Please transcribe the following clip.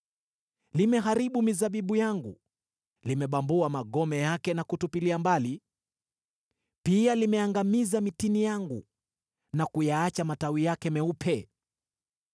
Limeharibu mizabibu yangu na kuangamiza mitini yangu. Limebambua magome yake na kuyatupilia mbali, likayaacha matawi yake yakiwa meupe.